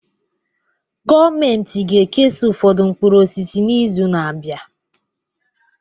Gọọmentị ga-ekesa ụfọdụ mkpụrụ osisi n'izu na-abịa